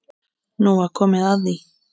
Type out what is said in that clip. Nú var komið að því.